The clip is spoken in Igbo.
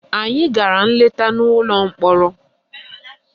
Anyị gara nleta n'ụlọ mkpọrọ